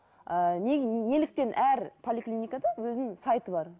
ыыы неге неліктен әр поликлиникада өзінің сайты бар